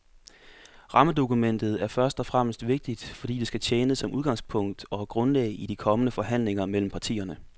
Rammedokumentet er først og fremmest vigtigt, fordi det skal tjene som udgangspunkt og grundlag i de kommende forhandlinger mellem partierne.